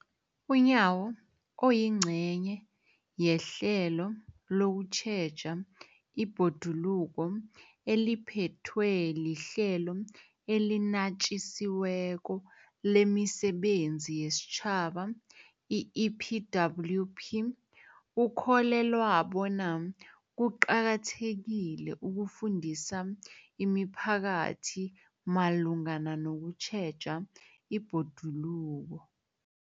UNyawo, oyingcenye yehlelo lokutjheja ibhoduluko eliphethwe liHlelo eliNatjisi weko lemiSebenzi yesiTjhaba, i-EPWP, ukholelwa bona kuqakathekile ukufundisa imiphakathi malungana nokutjheja ibhoduluko.